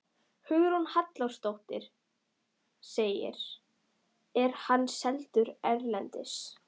Hugrún Halldórsdóttir: Er hann seldur erlendis?